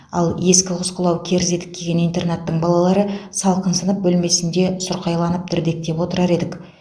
ал ескі құсқылау керзі етік киген интернаттың балалары салқын сынып бөлмесінде сұрқайланып дірдектеп отырар едік